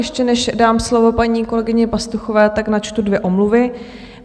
Ještě než dám slovo paní kolegyně Pastuchové, tak načtu dvě omluvy.